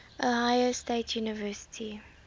ohio state university